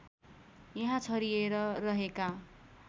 यहाँ छरिएर रहेका